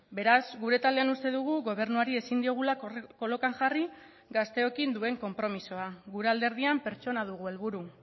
beraz gure taldean uste dugu gobernuari ezin diogula kolokan jarri gazteokin duen konpromisoa gure alderdian pertsona dugu helburu